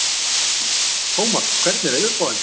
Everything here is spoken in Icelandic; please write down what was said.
Tómas, hvernig er veðurspáin?